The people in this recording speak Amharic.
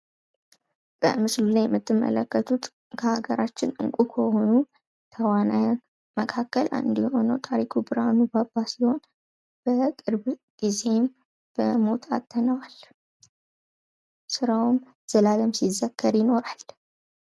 በምስሉ ላይ የምትመለከቱት ከሀገራችን እንቁ ከሆኑ ተዋናያን መካከል አንዱ የሆነዉን ታሪኩ ብርሃኑ(ባባ) ሲሆን በቅርብ ጊዜም በሞት አጥተነዋል። ስራዉም ዘላለም ሲዘከር ይኖራል።